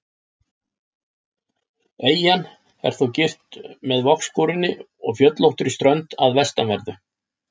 Eyjan er þó girt með vogskorinni og fjöllóttri strönd að vestanverðu.